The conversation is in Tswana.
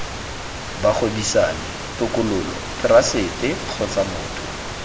bagwebisani tokololo therasete kgotsa motho